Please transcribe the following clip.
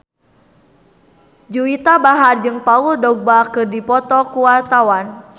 Juwita Bahar jeung Paul Dogba keur dipoto ku wartawan